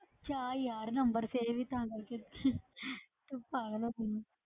ਕਿਆ ਯਾਰ number ਫਿਰ ਵੀ ਤਾਂ ਕਰਕੇ ਤੂੰ ਪਾਗਲ ਹੋ ਗਈ ਹੈ,